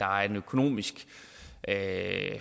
økonomisk er